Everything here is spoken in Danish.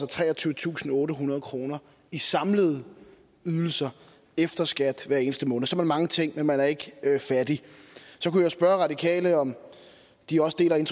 treogtyvetusinde og ottehundrede kroner i samlede ydelser efter skat hver eneste måned så kan man mangle ting men man er ikke fattig så kunne jeg spørge radikale om de også deler den